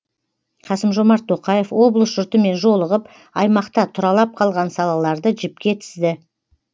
қасым жомарт тоқаев облыс жұртымен жолығып аймақта тұралап қалған салаларды жіпке тізді